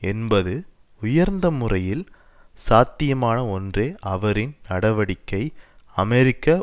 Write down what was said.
என்பது உயர்ந்த முறையில் சாத்தியமான ஒன்றே அவரின் நடவடிக்கை அமெரிக்க